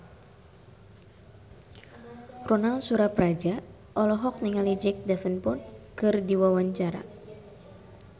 Ronal Surapradja olohok ningali Jack Davenport keur diwawancara